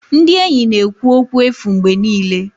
Ndị enyi na-ekwu okwu efu mgbe niile.